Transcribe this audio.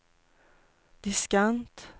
diskant